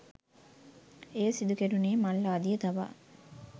එය සිදුකෙරුණේ මල් ආදිය තබා